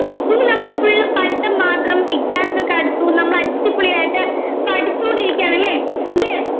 ഇനി നമ്മൾ full പഠിത്തം മാത്രം exams ഒക്കെ അടുത്തു നമ്മൾ അടിപൊളിയായിട്ട് പഠിച്ചുകൊണ്ടിരിക്കുകയാണ് അല്ലേ yes